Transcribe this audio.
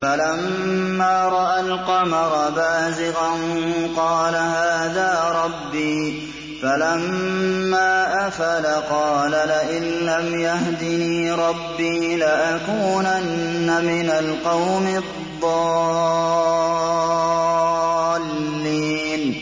فَلَمَّا رَأَى الْقَمَرَ بَازِغًا قَالَ هَٰذَا رَبِّي ۖ فَلَمَّا أَفَلَ قَالَ لَئِن لَّمْ يَهْدِنِي رَبِّي لَأَكُونَنَّ مِنَ الْقَوْمِ الضَّالِّينَ